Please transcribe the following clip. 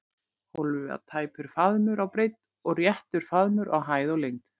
Hólfið var tæpur faðmur á breidd og réttur faðmur á hæð og lengd.